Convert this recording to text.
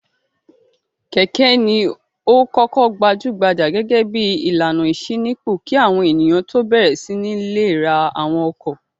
Kẹ̀kẹ́ ni ó kọ́kọ́ gbajú-gbajà gẹ́gẹ́ bí ìlànà ìṣínípò kí àwọn ènìyàn tó bẹ̀rẹ̀ sí ní le ra àwọn ọkọ̀.